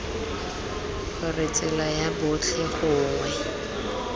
gore tsela ya botlhe gongwe